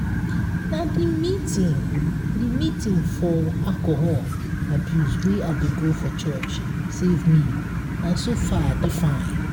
na the meeting the meeting for alcohol abuse wey i dey go for church save me and so far i dey fine